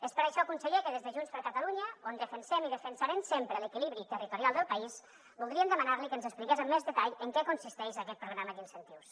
és per això conseller que des de junts per catalunya on defensem i defensarem sempre l’equilibri territorial del país voldríem demanar li que ens expliqués amb més detall en què consisteix aquest programa d’incentius